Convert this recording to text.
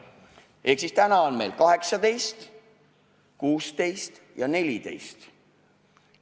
Praegu on meil vanusepiirid 18, 16 ja 14.